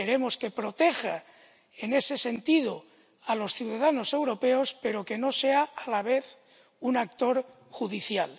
Queremos que proteja en ese sentido a los ciudadanos europeos, pero no que sea a la vez un actor judicial.